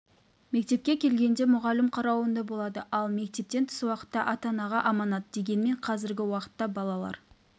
мектепке келгенде мұғалім қарауында болады ал мектептен тыс уақытта ата-анаға аманат дегенмен қазіргі уақытта балалар